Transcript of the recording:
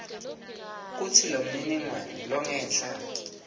kutsi lomniningwane longenla